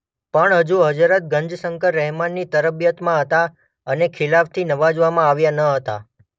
પણ હજુ હઝરત ગંજશંકર રહેમની તરબિયતમાં હતા અને ખિલાફતથી નવાઝવામાં આવ્યા ન હતા.